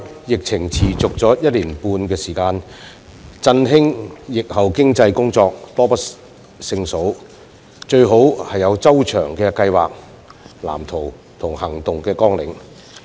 疫情已持續一年半，振興疫後經濟的工作多不勝數，因此最好有周詳計劃、藍圖及行動綱領。